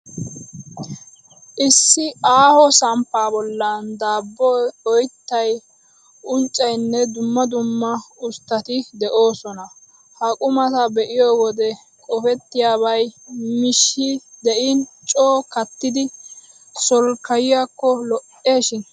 Issi aaho samppaa bollan daabboy, oyttay, unccaynne dumma dumma usttati de'oosona. Ha qumata be'iyoo wode qofettiyaabay miishshi de'in coo kattidi solkkayiyakko lo'oshin!!